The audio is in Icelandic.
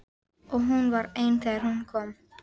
Og hún var ein þegar hún kom.